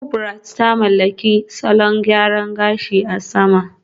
Kubrat ta mallaki salon gyaran gashi a sama